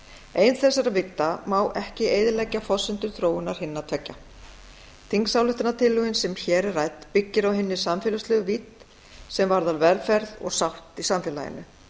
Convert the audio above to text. ein þessara vídda má ekki eyðileggja forsendur þróunar hinna tveggja þingsályktunartillagan sem hér er rædd byggir á hinni samfélagslegu vídd sem varðar velferð og sátt í samfélaginu